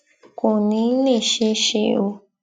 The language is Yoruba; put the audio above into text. kò ní í lè ṣeé ṣe o